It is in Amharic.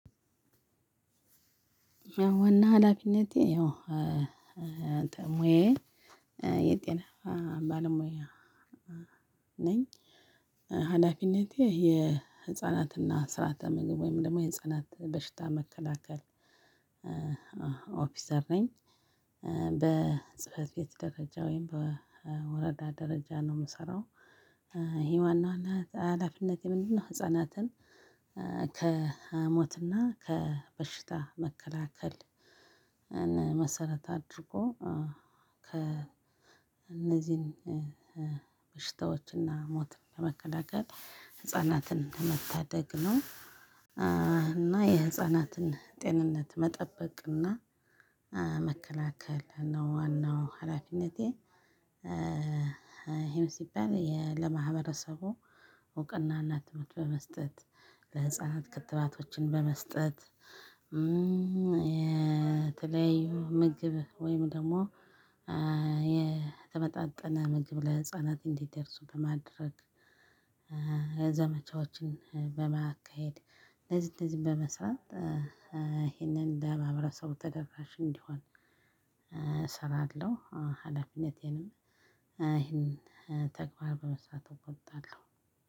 ዋና ሀላፊነቴ ያው ሙያየ የጤና ባለሙያ ነኝ። ሀላፊነቴ የህፃናትና ስርዓተ ምግብ ወይም ደግሞ የህፃናት በሽታ መከላከል ኦፒሰር ነኝ። በጽህፈት ቤት ደረጃ ወይም በወረዳ ደረጃ ነው ምሰራው ነው አላፊነቴ ምንድነው? ህፃናትን ከሞትና ከበሽታ መከላከል መሰረት አድርጎ ከ እነዚህን በሽታዎችና ሞትን ለመከላከል ህፃናትን መታደግ ነው። እና የህፃናትን ጤንነት መጠበቅና መከላከል ነው ዋናው ሀላፊነቴ። እሄም ሲባል ለማህበረሰቡ እውቅና እና ትምህርት በመስጠት ለህፃናት ክትባቶችን በመስጠት። የተለያዩ ምግብ ወይም ደግሞ የተመጣጠነ ምግብ ለህፃናት እንዲደርሱ በማድረግ ዘመቻዎችን በማካሄድ እንደዚህ እንደዚህ በመስራት ይሄንን ለማህበረሰቡ ተደራሽ እንዲሆን እሰራለሁ። ሀላፊነቴንም ይሄን ተግባር በመስራት እወጣለሁ።